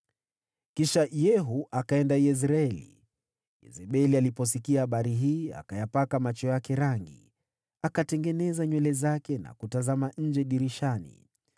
Kisha Yehu akaenda Yezreeli. Yezebeli aliposikia habari hii, akayapaka macho yake rangi, akatengeneza nywele zake na kutazama nje dirishani.